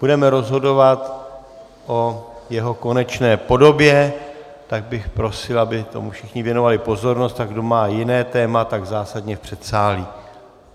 Budeme rozhodovat o jeho konečné podobě, tak bych prosil, aby tomu všichni věnovali pozornost, a kdo má jiné téma, tak zásadně v předsálí.